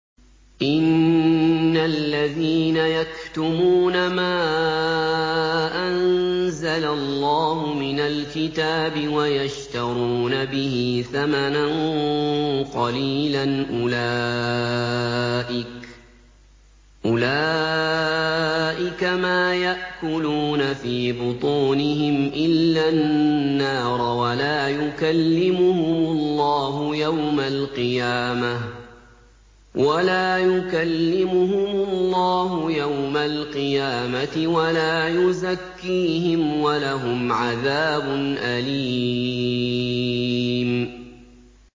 إِنَّ الَّذِينَ يَكْتُمُونَ مَا أَنزَلَ اللَّهُ مِنَ الْكِتَابِ وَيَشْتَرُونَ بِهِ ثَمَنًا قَلِيلًا ۙ أُولَٰئِكَ مَا يَأْكُلُونَ فِي بُطُونِهِمْ إِلَّا النَّارَ وَلَا يُكَلِّمُهُمُ اللَّهُ يَوْمَ الْقِيَامَةِ وَلَا يُزَكِّيهِمْ وَلَهُمْ عَذَابٌ أَلِيمٌ